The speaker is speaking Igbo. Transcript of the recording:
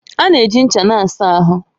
A na-eji ncha na-asa ahụ